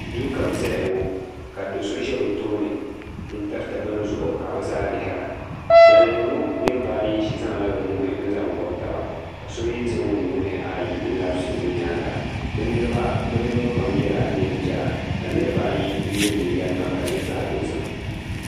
duu ka bɛ zaya ŋɔ ka do' so ʒe bɛ tooni n-tiriti bini zuɣu ka bɛ zaa lihira ban lihiri ŋɔ niriba ayi zaŋla bɛ nuhi n-zaŋ gɔbi taba ka so mi zaŋ o nuhi ayi n-labisi o nyaaga bɛ niriba pam yela neen' piɛla ka niriba ayi ye liiga nima ka di nyɛ zaɣ' dozim.